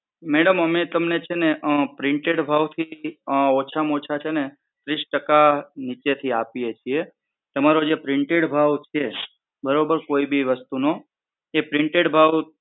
madam અમે તમને છે ને printed ભાવથી ઓછામાં ઓછા છે ને ત્રીસ ટકા નીચેથી આપીએ છીએ. તમારો જે printed ભાવ છે બરોબર કોઈ પણ વસ્તુનો જે printed ભાવ